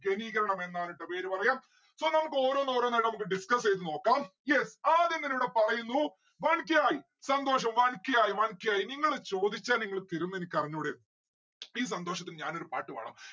ഘനീകരണം എന്നാണ് ട്ടോ പേര് പറയാ. so നമ്മുക്ക് ഓരോന്ന് ഓരോന്നായിട്ട് നമ്മുക്ക് discuss എയ്ത നോക്കാം yes ആദ്യം തന്നെ ഇവിടെ പറയുന്നു one k ആയി. സന്തോഷം one k ആയി one k ആയി. നിങ്ങട് ചോദിച്ചാൽ നിങ്ങള് തരും എനിക്ക് അറിഞ്ഞൂടെ ഈ സന്തോഷത്തിൽ ഞാൻ ഒരു പാട്ടു പാടാം